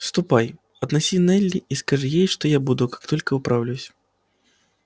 ступай отнеси нелли и скажи ей что я буду как только управлюсь